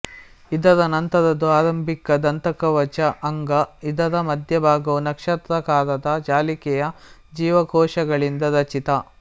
ಇದರ ನಂತರದ್ದು ಆರಂಭಿಕ ದಂತಕವಚ ಅಂಗ ಇದರ ಮಧ್ಯ ಭಾಗವು ನಕ್ಷತ್ರಾಕಾರದ ಜಾಲಿಕೆಯ ಜೀವಕೋಶಗಳಿಂದ ರಚಿತ